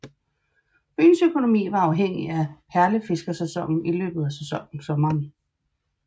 Byens økonomi var afhængig af perlefiskersæsonen i løbet af sommeren